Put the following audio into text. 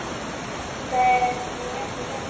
Það er nú ekki þannig.